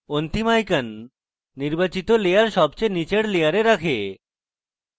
অন্তিম icon নির্বাচিত layer সবচেয়ে নীচের layer রাখে